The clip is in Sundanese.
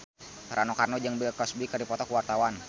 Rano Karno jeung Bill Cosby keur dipoto ku wartawan